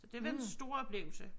Det var en stor oplevelse